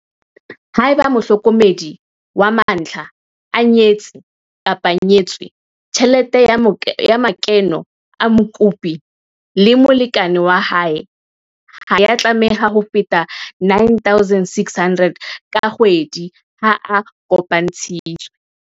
Haeba mohlokomedi wa mantlha a nyetse-nyetswe, tjhelete ya makeno a mokopi le molekane wa hae ha ya tlameha ho feta R9 600 ka kgwedi ha a kopantshitswe.